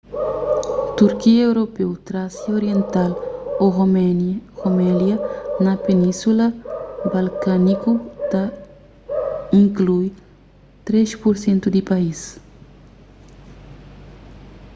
turkia europeu trásia oriental ô rumelia na península balkániku ta inklui 3% di país